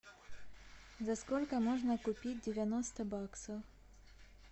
за сколько можно купить девяносто баксов